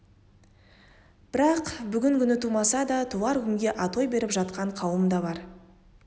бірақ бүгін күні тумаса да туар күнге атой беріп жатқан қауым да бар